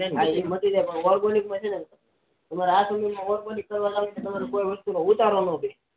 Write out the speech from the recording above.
હા એ માટી જાય પણ organic પછી ન તમારે ખબર પડીકે તમારે કોઈ વસ્તુ નો ઉતારો ન બેસે